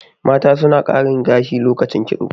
mata sun karin gashi lokacin kitso